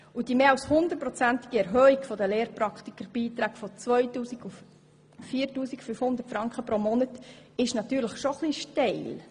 Zudem ist die mehr als hundertprozentige Erhöhung der Lehrpraktikerbeiträge von 2000 auf 4500 Franken pro Monat natürlich schon etwas steil.